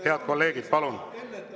Head kolleegid, palun!